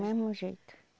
mesmo jeito.